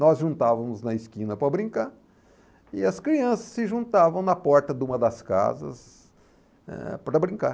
Nós juntávamos na esquina para brincar e as crianças se juntavam na porta de uma das casas, eh, para brincar.